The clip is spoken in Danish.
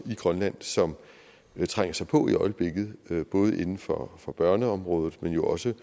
i grønland som trænger sig på i øjeblikket både inden for for børneområdet men jo også